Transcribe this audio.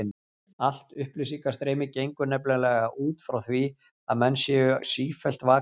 Allt upplýsingastreymi gengur nefnilega út frá því að menn séu sífellt vakandi.